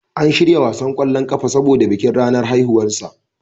An shirya wasan kwallon ƙafa saboda bikin ranar haihuwarsa.